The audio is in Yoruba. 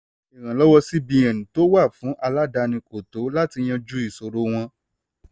ìrànlọ́wọ́ cbn tó wà fun aládàáni kò tó láti yanju ìṣòro wọn.